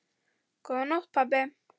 Góða nótt pabbi.